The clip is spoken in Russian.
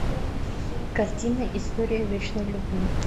картина история вечной любви